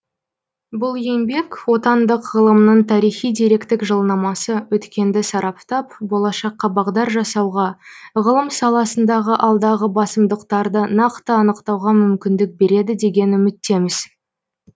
бұл еңбек отандық ғылымның тарихи деректік жылнамасы өткенді сараптап болашаққа бағдар жасауға ғылым саласындағы алдағы басымдықтарды нақты анықтауға мүмкіндік береді деген үміттеміз